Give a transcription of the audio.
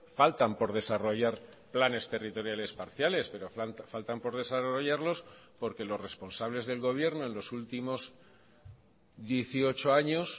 faltan por desarrollar planes territoriales parciales pero faltan por desarrollarlos porque los responsables del gobierno en los últimos dieciocho años